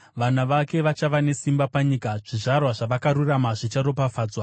Vana vake vachava nesimba panyika; zvizvarwa zvavakarurama zvicharopafadzwa.